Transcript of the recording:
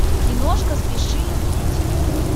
киношка спеши любить